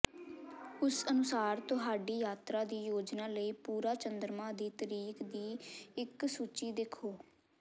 ਉਸ ਅਨੁਸਾਰ ਤੁਹਾਡੀ ਯਾਤਰਾ ਦੀ ਯੋਜਨਾ ਲਈ ਪੂਰਾ ਚੰਦਰਮਾ ਦੀ ਤਰੀਕ ਦੀ ਇਕ ਸੂਚੀ ਦੇਖੋ